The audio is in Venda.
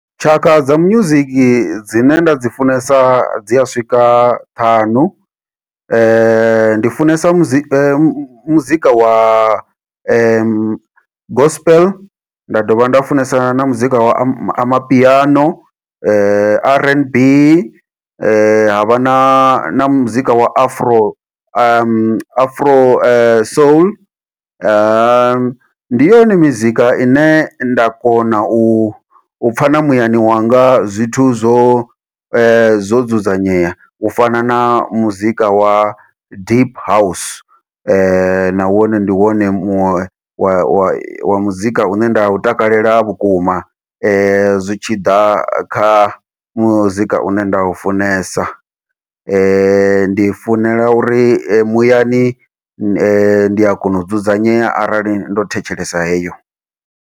Tshaka dza music dzine nda dzi funesa dzi a swika ṱhanu, ndi funesa muzi muzika wa gospel, nda dovha nda funesa na muzika wa ama amapiano, r n b, havha na na muzika wa afro afro soul, ndi yone mizika ine nda kona u pfha na muyani wanga zwithu zwo zwo dzudzanyea, u fana na muzika wa deep house na wone ndi wone muṅwe wa wa muzika une nda u takalela vhukuma zwi tshi ḓa kha muzika une nda u funesa, ndi i funela uri muyani ndi a kona u dzudzanyea arali ndo thetshelesa heyo.